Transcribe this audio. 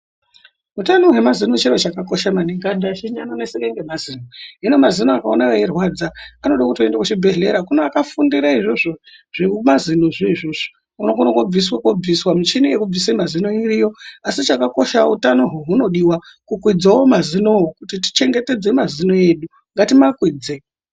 Utano hwemazino chiro chakakosha maningi, anthu azhinji anoneseka ngemazino, hino mazino ukaona eirwadza anoda kuti uende kuchibhedhleya kune akafundire izvozvo zvemazino zvo izvozvo, unokona koobviswa koobviswa michini yekubvise mazino iriyo, asi chakakosha utanohwo hunodiwa kukwidzawo mazinowo kuti tichengetedze mazino edu ngatimakwidze.